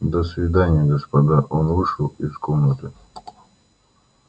до свидания господа он вышел из комнаты